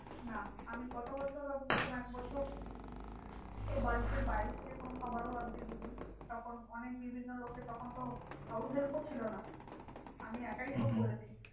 না আমি গত বছরও একবছর তো বাড়িতেই বাইরে থেকে কোনো খাবারও আনতে দিই নি। তখন অনেক বিভিন্ন লোকে তখনতো house help ও ছিল না আমি একাই সব করেছি।